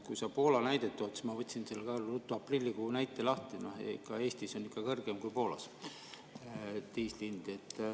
Kui sa Poola näidet tood, siis ma võtsin ruttu aprillikuu näite lahti: ikka Eestis on diisli hind kõrgem kui Poolas.